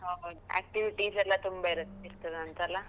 ಹೌದು activities ಎಲ್ಲ ತುಂಬಾ ಇರತ್ತೆ, ಇರ್ತದಂತ ಅಲ್ಲ?